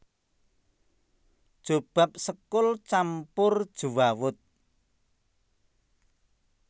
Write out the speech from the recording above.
Jobab sekul campur jewawut